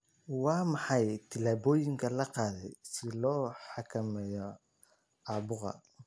Waa maxay tillaabooyinka la qaaday si loo xakameeyo caabuqa?